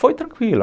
Foi tranquila.